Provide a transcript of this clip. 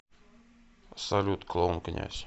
салют клоун князь